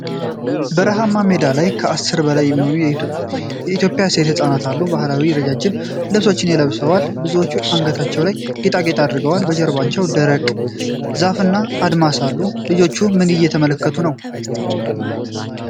በረሃማ ሜዳ ላይ ከ10 በላይ የሚሆኑ የኤትዮጵያ ሴት ሕፃናት አሉ። ባህላዊ ረዣዥም ልብሶችን ለብሰዋል። ብዙዎቹ በአንገታቸው ላይ ጌጣጌጥ አድርገዋል። በጀርባው ደረቅ ዛፍና አድማስ አሉ። ልጆቹ ምን እየተመለከቱ ነው?